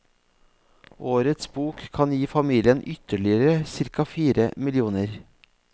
Årets bok kan gi familien ytterligere cirka fire millioner.